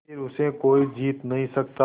फिर उसे कोई जीत नहीं सकता